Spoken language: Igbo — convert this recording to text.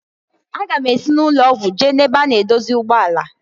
Aga m esi n'ụlọ ọgwụ jee na ebe a na-edozi ụgbọ ala.